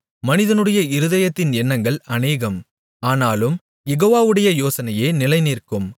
மனிதனுடைய இருதயத்தின் எண்ணங்கள் அநேகம் ஆனாலும் யெகோவாவுடைய யோசனையே நிலைநிற்கும்